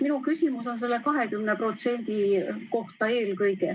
Minu küsimus on eelkõige selle 20% kohta.